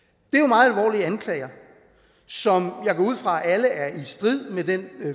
det anklager som jeg går ud fra alle er i strid med den